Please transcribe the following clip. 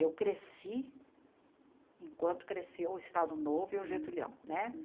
Eu cresci, enquanto cresceu o Estado Novo e o Getúlião né.